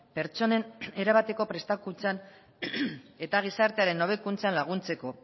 pertsonen erabateko prestakuntzan eta gizartearen hobekuntzan laguntzeko